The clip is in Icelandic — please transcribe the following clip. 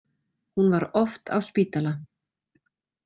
Hún var oft á spítala.